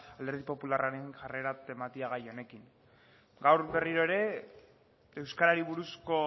alderdi popularraren jarrera tematia gai honekin gaur berriro ere euskarari buruzko